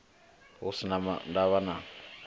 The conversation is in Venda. hu si na ndavha na